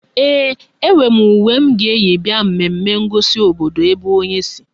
Ee, enwe m uwe m ga-eyi bịa mmemme ngosi obodo ebe onye si